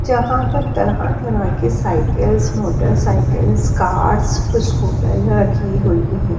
जहां पर तरह-तरह की साइकिल्स मोटरसाइकिल्स कार्स स्कूटर रखी हुई है।